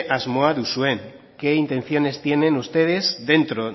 asmoa duzuen qué intenciones tienen ustedes dentro